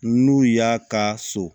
N'u y'a ka so